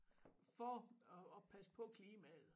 For at at passe på klimaet